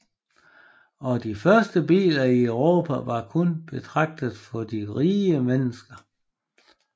Og de første biler i Europa var kun betragtet for de rige mennesker